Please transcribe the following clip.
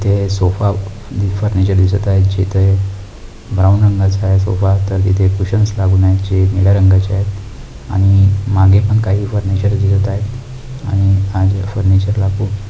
ते सोफा दिसत आहे जिथे ब्राऊन रंगाचा आहेसोफा तर तिथे कुशन्स आहेतजे निळ्या रंगाचे आहेत आणि मागे पण काही फर्निचर दिसत आहे आणि त्या फर्निचर ला खूप--